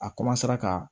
A ka